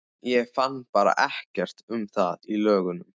Ég fann bara ekkert um það í lögunum.